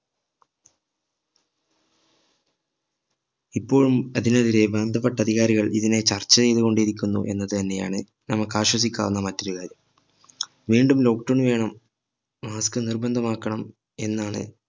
ഇപ്പോഴും അതിനെതിരെ ബന്ധപ്പെട്ട അധികാരികൾ ഇതിനെ ചർച്ച ചെയ്‌തു കൊണ്ടിരിക്കുന്നു എന്നത് തന്നെ ആണ് നമ്മക്ക് ആശ്വസിപ്പിക്കാവുന്ന മറ്റൊരു കാര്യം വീണ്ടും lockdown വേണം mask നിർബന്ധമാക്കണം എന്നാണ്